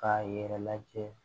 K'a yɛrɛ lajɛ